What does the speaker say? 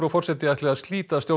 forseti ætlar að slíta